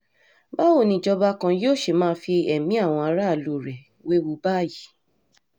báwo ni ìjọba kan yóò ṣe máa fi ẹ̀mí àwọn aráàlú rẹ̀ wewu báyìí